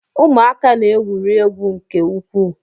Ụmụaka na-egwuri egwu nke ukwuu